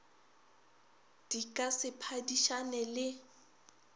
di ka se phadišane le